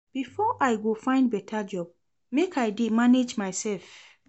Before I go find beta job, make I dey manage mysef.